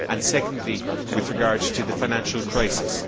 and secondly with regard to the financial crisis.